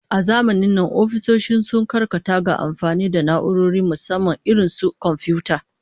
A zamanin nan ofisoshi sun karkata ga amfani da na'urori, musamman irin su komfiyuta